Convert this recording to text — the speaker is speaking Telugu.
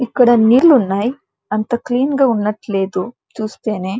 ఇక్కడ నీళ్ళు ఉన్నాయి అంతా క్లీన్ గా ఉన్నట్టు లేదు చూస్తేనే.